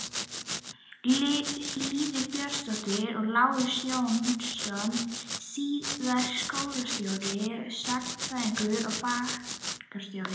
Lýður Björnsson og Lárus Jónsson- síðar skólastjóri, sagnfræðingur og bankastjóri.